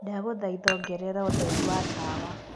ndagũthaĩtha ongereraũtherĩ wa tawa